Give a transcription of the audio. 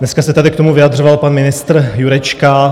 Dneska se tady k tomu vyjadřoval pan ministr Jurečka.